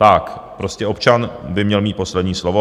Tak, prostě občan by měl mít poslední slovo.